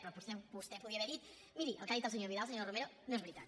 però potser vostè podria haver dit miri el que ha dit el senyor vidal senyora romero no és veritat